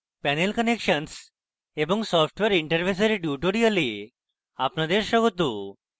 panel connections এবং software interface এর tutorial আপনাদের স্বাগত